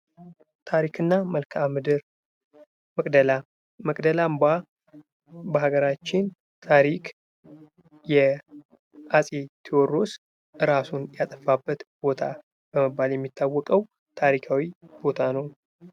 ታሪክና መልክአምድር መቅደላ መቅደላ አምባ በሀገራችን ታሪክ የአጼ ቴዎድሮስ እራሱን ያጠፋበት ቦታ በመባል የሚታወቀው ታሪካዊ ቦታ ነው።